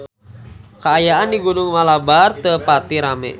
Kaayaan di Gunung Malabar teu pati rame